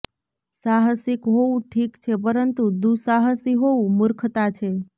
સાહસિક હોવું ઠીક છે પરંતુ દુસાહસી હોવું મુર્ખતા છે